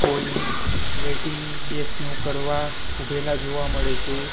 કોઈ વેટિંગ બેસનુ કરવા ઉભેલા જોવા મળે છે.